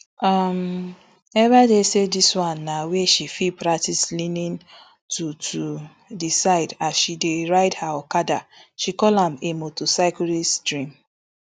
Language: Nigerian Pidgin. um ebaide say dis na wia she fit practice leaning to to di side as she dey ride her okada she call am a motorcyclist dream